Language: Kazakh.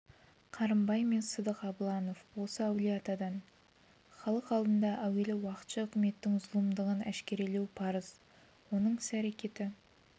қарымбай мен сыдық абыланов осы әулие-атадан халық алдында әуелі уақытша үкіметтің зұлымдығын әшкерелеу парыз оның іс-әрекеті